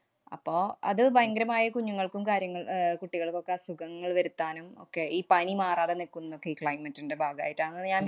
അപ്പൊ അത് ഭയങ്കരമായി കുഞ്ഞുങ്ങൾക്കും കാര്യങ്ങൾ അഹ് കുട്ടികൾക്കൊക്കെ അസുഖങ്ങൾ വരുത്താനും ഒക്കെ ഈ പനി മാറാതെ നില്‍ക്കുന്നൊക്കെ ഈ climate ന്‍റെ ഭാഗായിട്ടാണെന്ന് ഞാന്‍